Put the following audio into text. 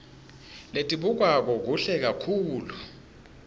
letibukwako kuhle kakhulu